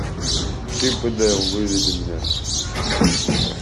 чип и дейл выведи мне